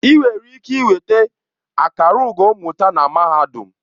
Ị nwere ike nweta akara ugo mmụta na mahadum.